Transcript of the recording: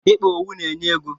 Ịkpa owu na-enye ego.